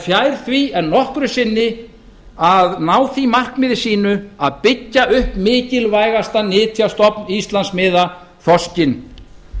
fjær því en nokkru sinni að ná markmiðum sínum hvað varðar mikilvægasta nytjastofn íslandsmiða þorskinn